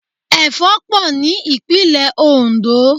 Ẹ̀fọ́ pọ̀ ní ìpínlẹ̀ oǹdó